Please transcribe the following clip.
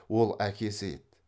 ол әкесі еді